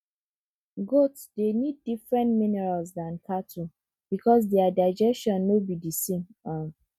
goats dey need different minerals than cattle because their digestion no be the same um